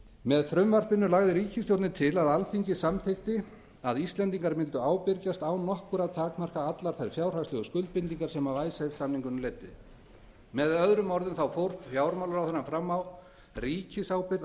með frumvarpinu lagði ríkisstjórnin til að alþingi samþykkti að íslendingar mundu ábyrgjast án nokkurra takmarkana allar þær fjárhagslegu skuldbindingar sem af icesave samningunum leiddi með öðrum orðum fór fjármálaráðherrann fram á ríkisábyrgð á